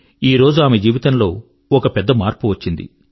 ఈ రోజు ఆమె జీవితం లో ఒక పెద్ద మార్పు వచ్చింది